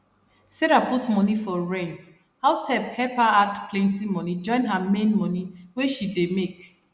sarah put money for rent house help her add plenty money join her main money wey she dey make